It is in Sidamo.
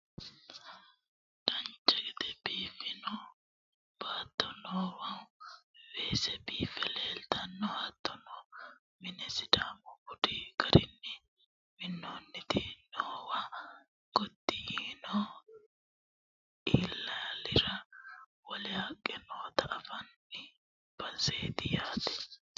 dancha gede biiffino baatto noowa weese biiffe leeltanno hattono minna sidaamu budu garinni minnoonniti noowa gotti yiino ilaalira wole haqqe noota anafanni baseeti yaate